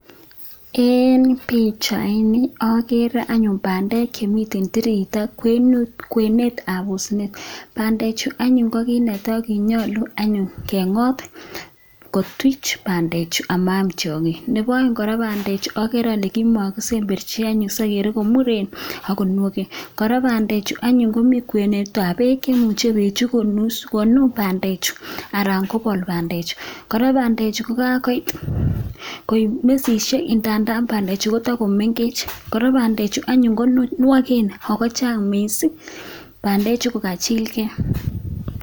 Eng pichaini, ageere anyuun bandek chemitei tireito kwenut, kwenetab osinet, bandechu ko kiit ne tai, ko kinyolu anyuun kengot kotuch bandechu amaam tiongik. Nebo aeng kora, bandechu ageere ale kimakisemberchi anyun sigeere komuren ak konakwen. Kora bandechu komi kwenutab beek, imuche beechu konun bandechu anan kopol bamdechu, kora, bandechu kokakoit koipu nususiek kanda bandechu kotakomengech, kora bandechu anyu konwaken ako chang mising. Bandechu kokachilkei.